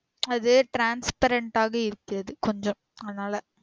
அது transparent ஆக இருக்கிறது கொஞ்சம் அதுனால